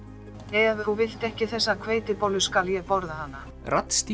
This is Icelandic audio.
ef þú vilt ekki þessa hveitibollu þá skal ég borða hana